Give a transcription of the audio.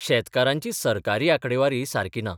शेतकारांची सरकारी आंकडेवारी सारकी ना.